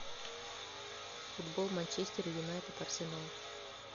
футбол манчестер юнайтед арсенал